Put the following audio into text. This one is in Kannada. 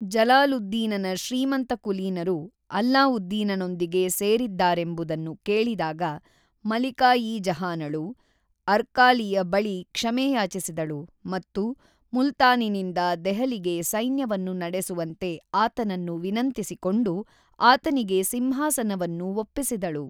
ಜಲಾಲುದ್ದೀನನ ಶ್ರೀಮಂತಕುಲೀನರು ಅಲ್ಲಾವುದ್ದೀನನೊಂದಿಗೆ ಸೇರಿದ್ದಾರೆಂಬುದನ್ನು ಕೇಳಿದಾಗ ಮಲಿಕಾ-ಇ-ಜಹಾನಳು, ಅರ್ಕಾಲಿಯ ಬಳಿ ಕ್ಷಮೆ ಯಾಚಿಸಿದಳು ಮತ್ತು ಮುಲ್ತಾನಿನಿಂದ ದೆಹಲಿಗೆ ಸೈನ್ಯವನ್ನು ನಡೆಸುವಂತೆ ಆತನನ್ನು ವಿನಂತಿಸಿಕೊಂಡು ಆತನಿಗೆ ಸಿಂಹಾಸನವನ್ನು ಒಪ್ಪಿಸಿದಳು.